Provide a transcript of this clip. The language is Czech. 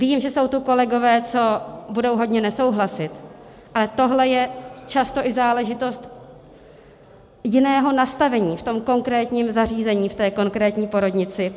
Vím, že jsou tu kolegové, co budou hodně nesouhlasit, ale tohle je často i záležitost jiného nastavení v tom konkrétním zařízení, v té konkrétní porodnici.